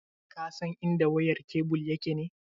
Ka san idan wayar kebul yake ne?